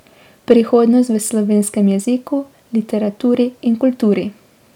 Prihodnost v slovenskem jeziku, literaturi in kulturi.